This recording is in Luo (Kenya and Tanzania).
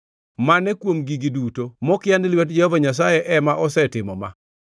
Mane kuom gigi duto mokia ni lwet Jehova Nyasaye ema osetimo ma?